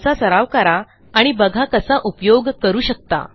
त्यांचा सराव करा आणि बघा कसा उपयोग करू शकता